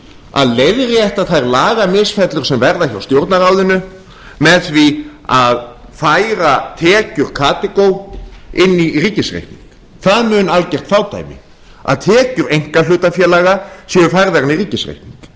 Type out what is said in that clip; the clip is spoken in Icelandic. að leiðrétta þær lagamisfellur sem verða hjá stjórnarráðinu með því að færa tekjur karþagó inn í ríkisreikning það mun algert fádæmi að tekjur einkahlutafélaga séu færðar inn í ríkisreikninginn